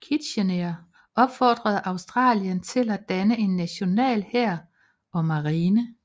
Kitchener opfordrede Australien til at danne en national hær og marine